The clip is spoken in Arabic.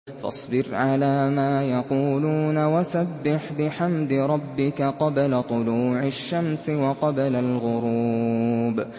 فَاصْبِرْ عَلَىٰ مَا يَقُولُونَ وَسَبِّحْ بِحَمْدِ رَبِّكَ قَبْلَ طُلُوعِ الشَّمْسِ وَقَبْلَ الْغُرُوبِ